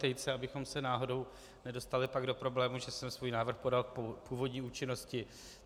Tejce, abychom se náhodou nedostali pak do problémů, že jsem svůj návrh podal v původní účinnosti.